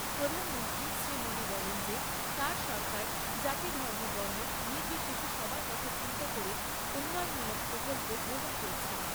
প্রধানমন্ত্রী শ্রীমোদী বলেন যে তার সরকার জাতী ধর্ম বর্ণ নির্বিশেষে সবার কথা চিন্তা করে উন্নয়নমূলক প্রকল্প গ্রহণ করছে।